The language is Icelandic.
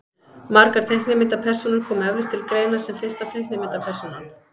margar teiknimyndapersónur koma eflaust til greina sem fyrsta teiknimyndapersónan